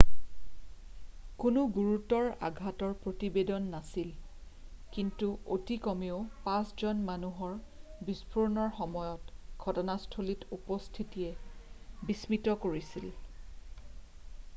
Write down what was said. কোনো গুৰুতৰ আঘাতৰ প্ৰতিবেদন নাছিল কিন্তু অতি কমেও 5 জন মানুহৰ বিস্ফোৰণৰ সময়ত ঘটনাস্থলত উপস্থিতিয়ে বিস্মিত কৰিছিল